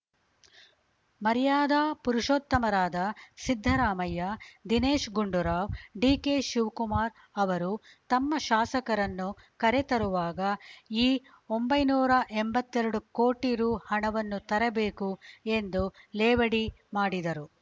ಮರ್ಯಾದಾ ಪುರುಷೋತ್ತಮರಾದ ಸಿದ್ದರಾಮಯ್ಯ ದಿನೇಶ್‌ ಗುಂಡೂರಾವ್‌ ಡಿಕೆಶಿವಕುಮಾರ್‌ ಅವರು ತಮ್ಮ ಶಾಸಕರನ್ನು ಕರೆ ತರುವಾಗ ಈ ಒಂಬೈನೂರ ಎಂಬತ್ತೆರಡು ಕೋಟಿ ರು ಹಣವನ್ನೂ ತರಬೇಕು ಎಂದು ಲೇವಡಿ ಮಾಡಿದರು